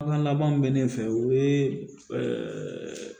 An ka laban min bɛ ne fɛ o ye